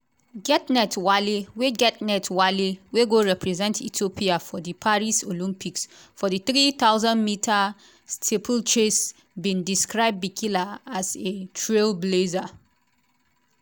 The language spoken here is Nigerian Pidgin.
getnet wale wey getnet wale wey go represent ethiopia for di paris olympics for di three thousand metres steeplechase bin describe bikila as a trailblazer.